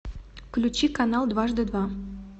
включи канал дважды два